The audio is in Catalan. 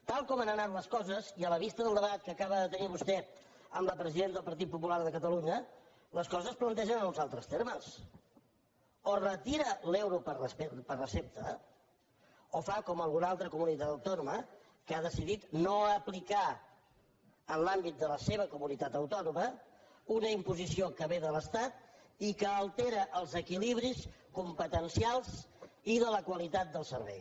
tal com han anat les coses i a la vista del debat que acaba de tenir vostè amb la presidenta del partit popular de catalunya les coses es plantegen en uns altres termes o retira l’euro per recepta o fa com alguna comunitat autònoma que ha decidit no aplicar en l’àmbit de la seva comunitat autònoma una imposició que ve de l’estat i que altera els equilibris competencials i de la qualitat del servei